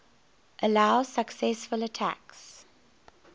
allow successful attacks